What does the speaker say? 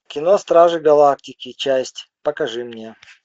кино стражи галактики часть покажи мне